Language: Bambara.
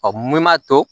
mun m'a to